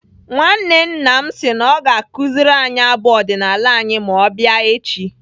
Nwanne nna m si na ọ ga-akụziri anyị abụ ọdịnaala anyị ma ọ bịa echi.